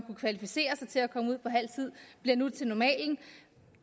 kvalificere sig til at komme ud på halv tid bliver nu til normalen